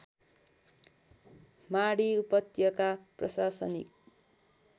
माडी उपत्यका प्रशासनिक